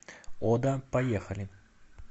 ода поехали